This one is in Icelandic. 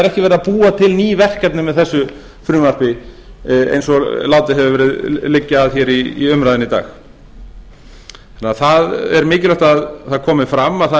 er ekki verið að búa til ný verkefni með þessu frumvarpi eins og látið hefur verið liggja að hér í umræðunni í dag það er mikilvægt að það komi fram að það er verið